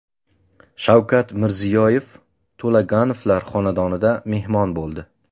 Shavkat Mirziyoyev To‘laganovlar xonadonida mehmon bo‘ldi.